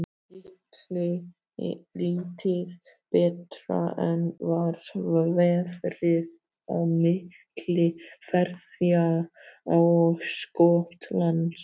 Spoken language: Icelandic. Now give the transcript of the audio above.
Lítið betra var veðrið á milli Færeyja og Skotlands.